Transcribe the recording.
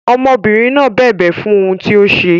Ọmọbìnrin náà bẹ̀bẹ̀ fún ohun tí ó ṣe.